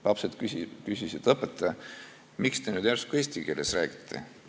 Lapsed küsisid: "Õpetaja, miks te nüüd järsku eesti keeles räägite?